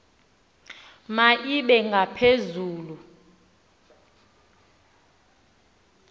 ma ibe ngaphezulu